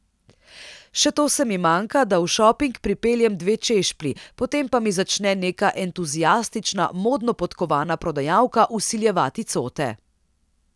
Še to se mi manjka, da v šoping pripeljem dve češplji, potem pa mi začne neka entuziastična, modno podkovana prodajalka vsiljevati cote.